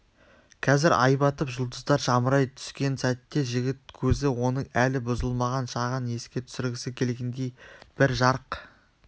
қазір ай батып жұлдыздар жамырай түскен сәтте жігіт көзі оның әлі бұзылмаған шағын еске түсіргісі келгендей бір жарқ